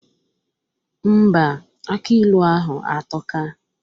Ḿbà, aki ilu ahụ atọka